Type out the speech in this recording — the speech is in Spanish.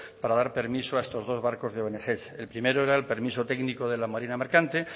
para dar permiso a estos dos barcos de ong el primero era el permiso técnico de la marina mercante